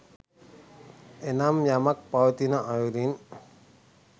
එනම් යමක් පවතින අයුරින්